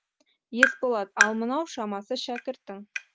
есболат ал мынау шамасы шәкіртің